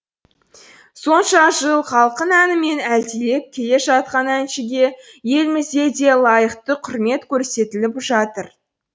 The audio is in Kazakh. сонша жыл халқын әнімен әлдилеп келе жатқан әншіге елімізде де лайықты құрмет көрсетіліп жатыр